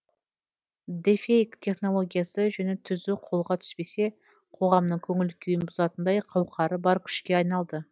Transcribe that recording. де фейк технологиясы жөні түзу қолға түспесе қоғамның көңіл күйін бұзатындай қауқары бар күшке айналды